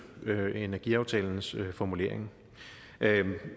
energiaftalens formulering